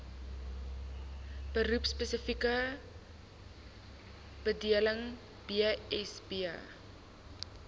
beroepspesifieke bedeling bsb